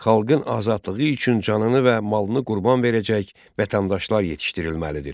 Xalqın azadlığı üçün canını və malını qurban verəcək vətəndaşlar yetişdirilməlidir.